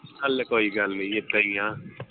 ਹਾਲੇ ਕੋਈ ਗੱਲ ਨੀ ਇੱਦਾਂ ਈ ਆ